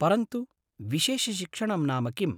परन्तु, विशेषशिक्षणं नाम किम्?